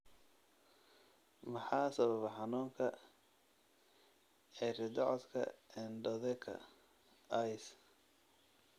Maxaa sababa xanuunka cirridocoka endotheka (ICE) ?